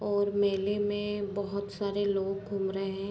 और मेले में बहोत सारे लोग घूम रहे है।